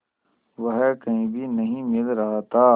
वह कहीं भी नहीं मिल रहा था